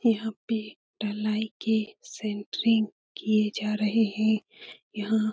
यहाँ पे ढ़लाई के सेंट्रिंग किया जा रहें हैं। यहाँ --